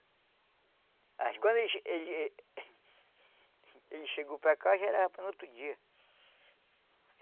Mas quando ele... ele ele chegou para cá já era no outro dia.